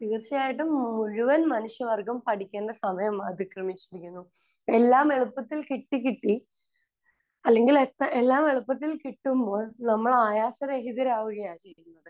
തീർച്ചയായിട്ടും മുഴുവൻ മനുഷ്യവർഗം പഠിക്കേണ്ട സമയം അതിക്രമിച്ചിരിക്കുന്നു. എല്ലാം എളുപ്പത്തിൽ കിട്ടി കിട്ടി അല്ലെങ്കിൽ എല്ലാം എളുപ്പത്തിൽ കിട്ടുമ്പോൾ നമ്മൾ ആയാസരഹിതരാകുകയാണ് ചെയ്യുന്നത്.